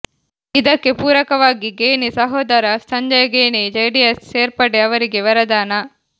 ಇದಕ್ಕೆ ಪೂರಕವಾಗಿ ಖೇಣಿ ಸಹೋದರ ಸಂಜಯ ಖೇಣಿ ಜೆಡಿಎಸ್ ಸೇರ್ಪಡೆ ಅವರಿಗೆ ವರದಾನ